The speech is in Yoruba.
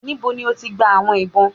Níbò̀ ni o tì gbà àwọn ìbọn?